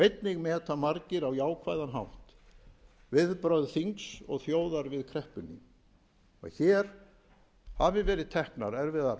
einnig meta margir á jákvæðan hátt viðbrögð þings og þjóðar við kreppunni að hér hafi verið teknar erfiðar